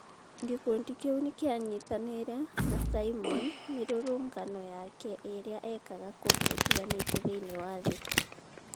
Gĩkundi kĩu nĩ kĩanyitanĩire na Simon mĩrũrũngano yake erĩa eekaga kũndũ gũtigaine thĩinie wa thi.